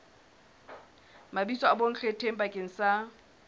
mabitso a bonkgetheng bakeng sa